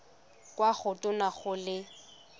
kwa go tona go le